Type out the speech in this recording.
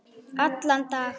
Allan dag?